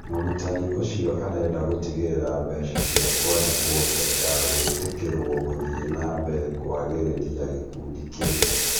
Mũrutani ũcio arenda gũtigĩrĩra mbeca cia kwandĩkwo mbere ya gwĩtĩkĩrwo gũthĩĩ na mbere kwagĩrĩria gĩkundi kĩu